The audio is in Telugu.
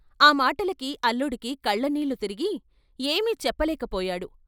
ఆ మాటలకి అల్లుడికి కళ్ళనీళ్ళు తిరిగి ఏమీ చెప్పలేక పోయాడు.